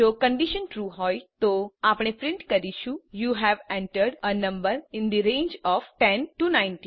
જો condition true હોય તો આપણે પ્રિન્ટ કરીશું યુ હવે entered a number in the range of 10 19